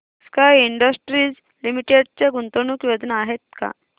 sky Industries Limited च्या गुंतवणूक योजना आहेत का